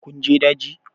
Kun je daji?